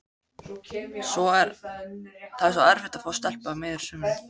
Það er svo erfitt að fá stelpu á miðju sumri.